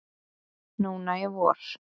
Núna í vor.